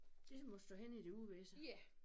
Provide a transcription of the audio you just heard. Det må stå hen i det uvisse